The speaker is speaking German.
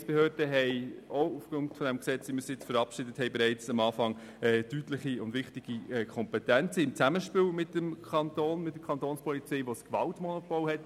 Die Gemeindebehörden haben mit dem Gesetz, wie wir es nun verabschieden, von Anfang an deutliche und wichtige Kompetenzen im Zusammenspiel mit dem Kanton beziehungsweise der Kapo, die das Gewaltmonopol hat.